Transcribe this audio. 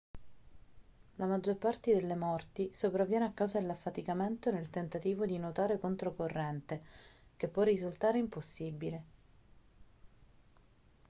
la maggior parte delle morti sopravviene a causa dell'affaticamento nel tentativo di nuotare controcorrente che può risultare impossibile